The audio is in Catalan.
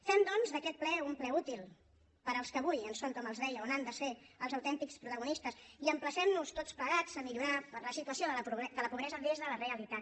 fem doncs d’aquest ple un ple útil per als que avui en són com els deia o n’han de ser els autèntics protagonistes i emplacem nos tots plegats a millorar la situació de la pobresa des de la realitat